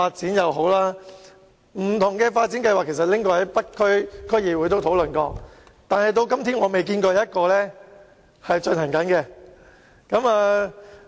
當局曾把不同的發展計劃提交北區區議會討論，但至今仍未落實任何一項計劃。